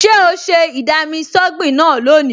Ṣé o ṣe ì-dami-sọ́gbìn náà lónìí?